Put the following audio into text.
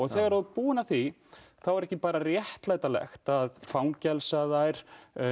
þegar þú ert búin að því þá er ekki bara réttlætanlegt að fangelsa þær